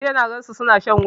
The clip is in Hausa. Jiya na gan su suna shan wiwi